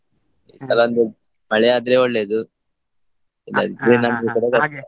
ಮಳೆ ಆದ್ರೆ ಒಳ್ಳೇದು ಕೂಡ ಕಷ್ಟ.